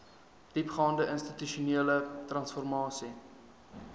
diepgaande institusionele transformasie